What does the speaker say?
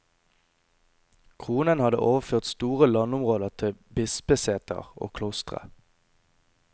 Kronen hadde overført store landområder til bispeseter og klostre.